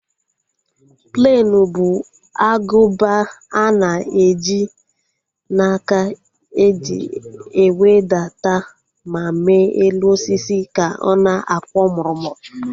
Plenu bụ agụba ana eji n'aka eji ewedata ma mee elu osisi ka ọ na-akwọ murumuru